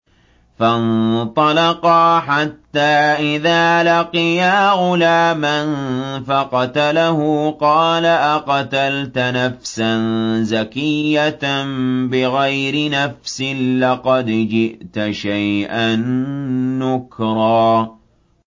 فَانطَلَقَا حَتَّىٰ إِذَا لَقِيَا غُلَامًا فَقَتَلَهُ قَالَ أَقَتَلْتَ نَفْسًا زَكِيَّةً بِغَيْرِ نَفْسٍ لَّقَدْ جِئْتَ شَيْئًا نُّكْرًا